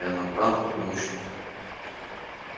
и она там и очень